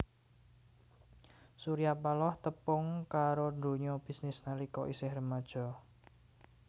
Surya Paloh tepung karo donya bisnis nalika isih remaja